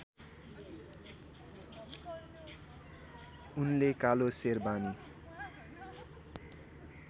उनले कालो सेरबानी